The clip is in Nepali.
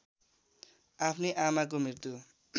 आफ्नी आमाको मृत्यु